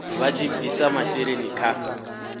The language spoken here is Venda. vha tshi bvisa masheleni kha